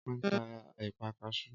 Ọpẹ́ ń ta ẹ̀pà kasú